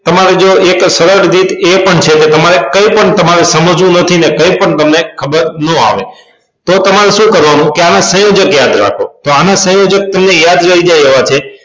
તમારે જો એક સરળ રીત એ પણ છે કે તમારે કઇ પણ તમારે સમજવું નથી ને કઈ પણ તમને ખબર નો આવડે તો તમારે સુ કરવાનું આના સંયોજક યાદ રાખો તો આના સંયોજક તમને યાદ રે જે એવા છે